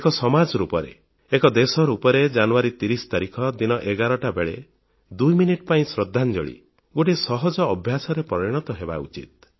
ଏକ ସମାନ ରୂପରେ ଏକ ଦେଶ ରୂପେ ଜାନୁୟାରୀ 30 ତାରିଖ ଦିନ 11ଟା ବେଳେ 2 ମିନିଟ ପାଇଁ ଶ୍ରଦ୍ଧାଞ୍ଜଳି ଗୋଟିଏ ସହଜ ଅଭ୍ୟାସରେ ପରିଣତ ହେବା ଉଚିତ